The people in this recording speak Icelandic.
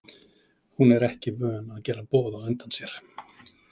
Hún er ekki vön að gera boð á undan sér.